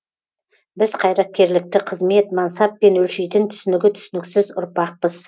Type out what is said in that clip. біз қайраткерлікті қызмет мансаппен өлшейтін түсінігі түсініксіз ұрпақпыз